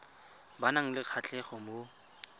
ba nang le kgatlhego mo